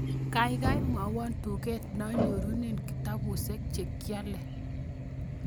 Gaigai mwawan tuget nanyorunen kitabushek che kiale